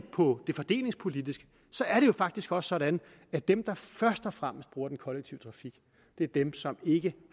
på det fordelingspolitisk er det faktisk også sådan at dem der først og fremmest bruger den kollektive trafik er dem som ikke